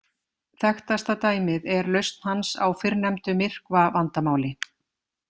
Þekktasta dæmið er lausn hans á fyrrnefndu myrkvavandamáli.